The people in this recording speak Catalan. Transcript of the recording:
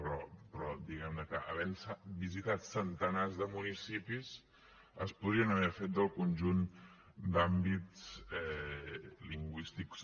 però diguem ne que havent se visitat centenars de municipis es podrien haver fet del conjunt d’àmbits lingüístics